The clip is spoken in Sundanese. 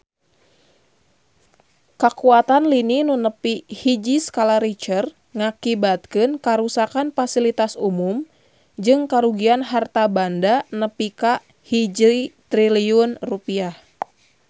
Kakuatan lini nu nepi hiji skala Richter ngakibatkeun karuksakan pasilitas umum jeung karugian harta banda nepi ka 1 triliun rupiah